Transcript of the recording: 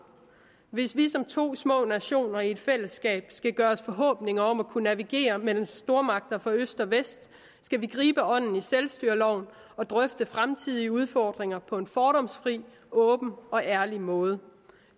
hvis vi som to små nationer i et fællesskab skal gøre os forhåbninger om at kunne navigere mellem stormagter fra øst og vest skal vi gribe ånden i selvstyreloven og drøfte fremtidige udfordringer på en fordomsfri åben og ærlig måde